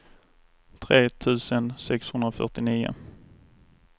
tre tusen sexhundrafyrtionio